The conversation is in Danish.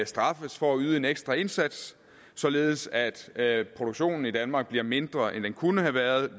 straffes for at yde en ekstra indsats således at at produktionen i danmark bliver mindre end den kunne have været